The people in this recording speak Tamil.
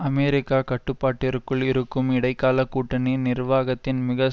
அமெரிக்க கட்டுப்பாட்டிற்குள் இருக்கும் இடைக்கால கூட்டணி நிர்வாகத்தின் மிக